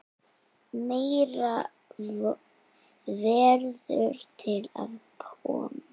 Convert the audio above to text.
Meira verður til að koma.